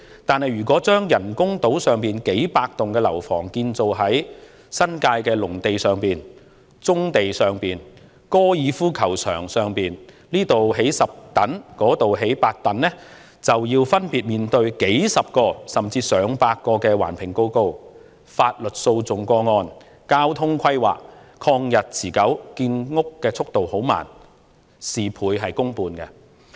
但是，如果把人工島上數百幢樓房改為在新界農地、棕地、高爾夫球場上興建，此處興建10幢，那處興建8幢，便須分別面對數十個甚至逾100個環評報告、法律訴訟個案、交通規劃，曠日持久，建屋速度緩慢，事倍功半。